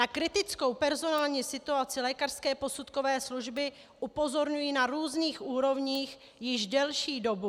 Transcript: Na kritickou personální situaci lékařské posudkové služby upozorňuji na různých úrovních již delší dobu.